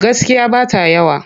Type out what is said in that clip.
Gaskiya ba ta yawa.